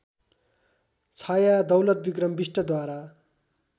Chhaya Daulatbikram बिष्टद्वारा